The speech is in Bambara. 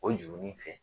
O jurunin in fɛ